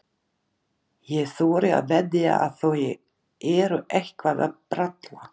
Ég þori að veðja að þau eru eitthvað að bralla.